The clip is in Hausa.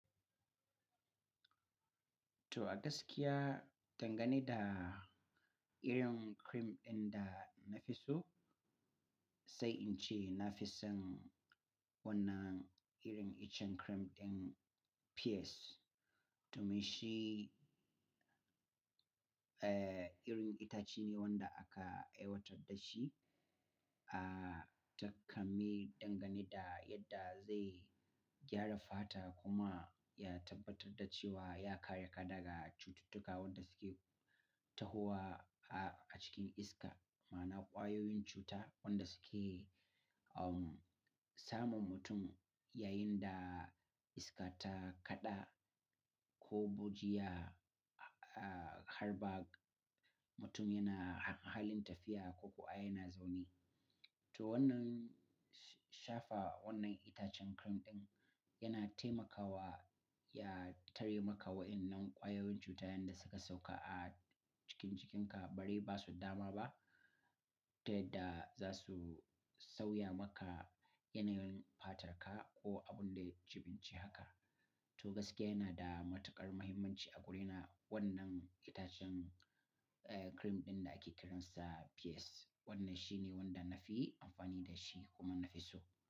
To a gaskiya, dangane da irin cream ɗin da na fi so, sai in ce na fi son wannan irin icen cream ɗin pears. To mai shi, eh, irin itace ne wanda aka aiwatar da shi, ah, ta kame dangane da yadda zai gyara fata kuma ya tabbatar da cewa ya kare ka daga cututtuka wanda suke tahowa a cikin iska, ma'ana ƙwayoyin cuta wanda suke, um, samun mutum yayin da iska ta kaɗa ko bujiya, ah, harba, mutum yana halin tafiya ko kuwa yana zaune. To wannan shafa wannan itacen cream ɗin yana taimakawa ya tare maka wa'innan ƙwayoyin cuta yanda suka sauka a cikin jikinka bari ba su dama ba, ta yadda za su sauya maka yanayin fatarka ko abun da ya jibinci haka. To gaskiya yana da matuƙar muhimmanci a guri na wannan itacen, eh, cream ɗin da ake kiransa pears. Wannan shine wanda na fi amfani da shi kuma na fi so.